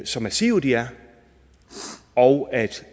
så massive de er og